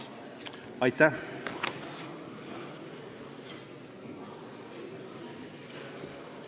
Aitäh!